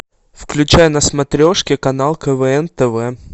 включай на смотрешке канал квн тв